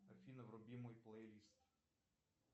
афина вруби мой плейлист